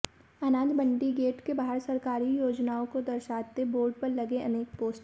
अनाज मंडी गेट के बाहर सरकारी योजनाओं को दर्शाते बोर्ड पर लगे अनेक पोस्टर